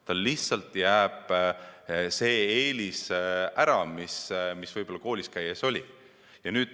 Neil lihtsalt pole enam seda eelist, mis neil võib-olla koolis käies oli.